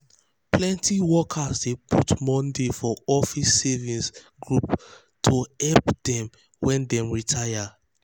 plenty workers dey put money for office savings group to to help dem um when dem retire. um